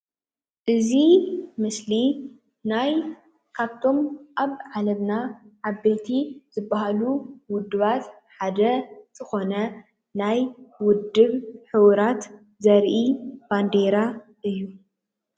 እዚ ምስሊ ናይ ካብቶም ኣብ ዓለምና ዓበይቲ ዝባሃሉ ውድባት ሓደ ዝኮነ ናይ ውድብ ሑብራት ዘርኢ ባንዴራ እዩ፡፡